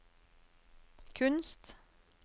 kunst